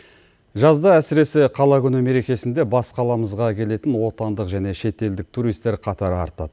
жазда әсіресе қала күні мерекесінде бас қаламызға келетін отандық және шетелдік туристер қатары артады